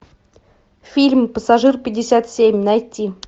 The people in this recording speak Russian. фильм пассажир пятьдесят семь найти